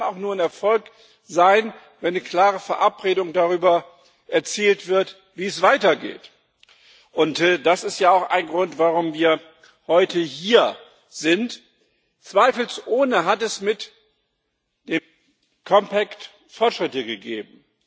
Aber es kann auch nur ein Erfolg sein, wenn eine klare Verabredung darüber erzielt wird, wie es weitergeht, und das ist ja auch ein Grund, warum wir heute hier sind. Zweifelsohne hat es mit dem Compact Fortschritte gegeben.